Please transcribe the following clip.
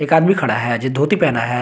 एक आदमी खड़ा है जो धोती पहना है।